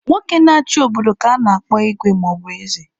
Nwoke na-achị obodo ka a na-akpọ Igwe maọbu eze.